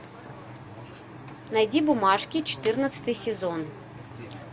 найди бумажки четырнадцатый сезон